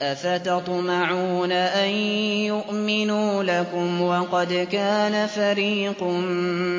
۞ أَفَتَطْمَعُونَ أَن يُؤْمِنُوا لَكُمْ وَقَدْ كَانَ فَرِيقٌ